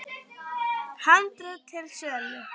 Handrit til sölu.